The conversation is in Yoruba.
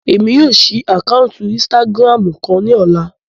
Emi yóò ṣii ákáuntì Insìtágirámu kan ni ọla